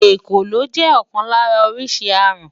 Èkòló jẹ́ ọ̀kan lára oríṣi aràn.